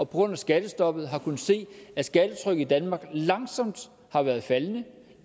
grund af skattestoppet har kunnet se at skattetrykket i danmark langsomt har været faldende